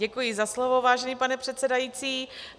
Děkuji za slovo, vážený pane předsedající.